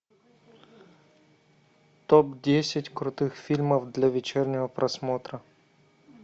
топ десять крутых фильмов для вечернего просмотра